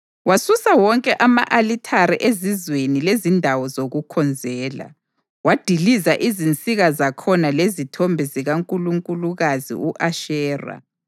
Wasusa wonke ama-alithare ezizweni lezindawo zokukhonzela, wadiliza izinsika zakhona lezithombe zikankulunkulukazi u-Ashera.